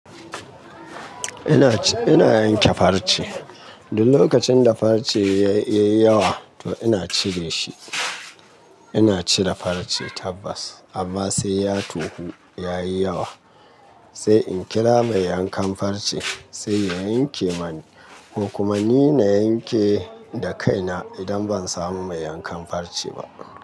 Ina, ina yanke farce. Duk lokacin da farce ya yi yawa to ina cire shi. Ina cire farce tabbas amma sai ya tohu, ya yi yawa. Sai in kira mai yankan farce sai ya yanke mani ko kuma ni na yanke da kaina idan ban samu mai yankan farce ba.